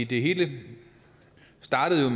det hele startede